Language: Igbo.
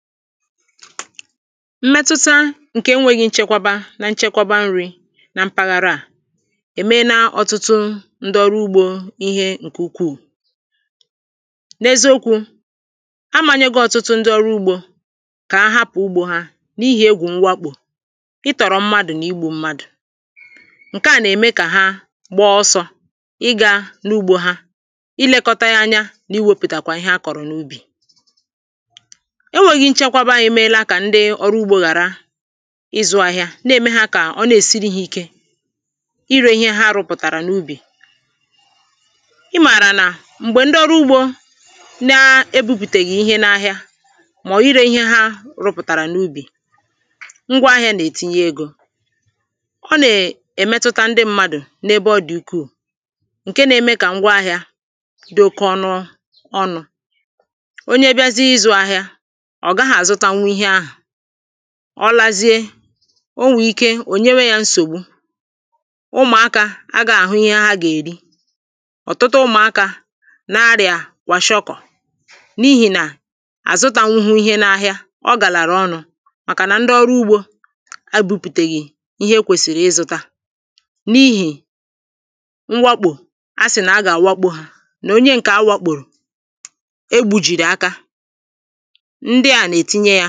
mmetụta ǹkè enwēghị̄ nchekwaba na nchekwaba nrī na mpaghara à èmena ọtụtụ ndị ọrụ ugbō ihe ǹkè ukwuù n’eziokwū āmāyēgō ọ̀tụtụ ndị ọrụ ugbō kà ha hapụ̀ ugbō hā n’ihì egwù mwakpò ịtọ̀rọ̀ mmadụ̀ nà igbū mmadụ̀ ǹke à nà-ème kà ha gba ọsọ̄ igā n’ugbō hā ilekota ya anya nà iwepụtakwa ihe ha kọ̀rọ̀ n’ubì enwēghī nchekwaba èmela kà ndị ọrụ ugbō ghàra ịzụ̄ āhịā na-ème hā kà ọ na-èsiri hā ike irē ihe ha rụpụ̀tàrà n’ubì ị màrà nà m̀gbè ndị ọrụ ugbō na-ebūpùtèghì ihe n’ahịa màọ̀bụ̀ irē ihe ha rụpụ̀tàrà n’ubì ngwa ahịā nà-ètinye egō ɔ́ nà-èmétʊ́tá ńdɪ́ ḿmádʊ̀ n’ébé ɔ́ dɪ̀ úkʷúù ǹke nā-ēmē kà ngwa ahịā dị oke ọnụ ọnụ̄ onye biazi ịzụ̄ āhịā, ọ̀ gaghị̄ àzụtanwụ ihe ahụ̀ ọ lazie o nwèrè ike ò nyewe yā nsògbu ụmùakā àgaghị̄ àhụ ihe ha gà-èri ọ̀tụtụ ụmụ̀akā na-arịà kwàshịọkọ̀ n’ihì nà hà zụtānwụ̄hū ihe n’ahịa màkànà ndị ọrụ ugbō ebūpùtàghì ihe ha kwèsìrì ịzụ̄tā n’ihì mwakpò ha sì nà ha gà-àwakpō hà nà onye ǹkè ha wakpòrò egbujìrì aka ndị à nà-ètinye yā